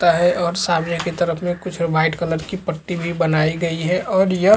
ता है और सामने की तरफ में कुछ वाइट कलर की पट्टी भी बनाई गई है और यह--